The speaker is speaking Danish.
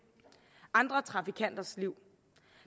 og andre trafikanter liv